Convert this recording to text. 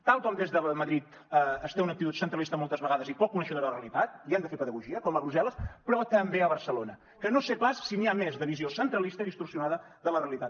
tal com des de madrid es té una actitud centralista moltes vegades i poc coneixedora de la realitat i han de fer pedagogia com a brussel·les però també a barcelona que no sé pas si n’hi ha més de visió centralista i distorsionada de la realitat